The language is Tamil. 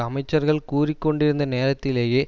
அமைச்சர்கள் கூறிக்கொண்டிருந்த நேரத்திலேயே